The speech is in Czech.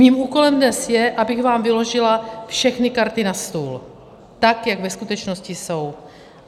Mým úkolem dnes je, abych vám vyložila všechny karty na stůl tak, jak ve skutečnosti jsou.